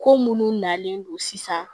Ko munnu nalen don sisan